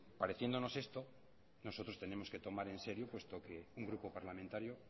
pareciéndonos esto nosotros tenemos que tomar en serio porque un grupo parlamentario